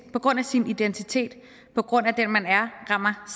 på grund af sin identitet på grund af den man er rammer